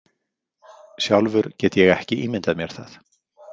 Sjálfur get ég ekki ímyndað mér það.